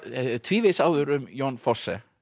tvívegis áður um Jon Fosse